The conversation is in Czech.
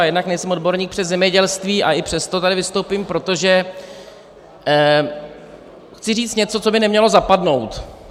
A jednak nejsem odborník přes zemědělství, a i přesto tady vystoupím, protože chci říct něco, co by nemělo zapadnout.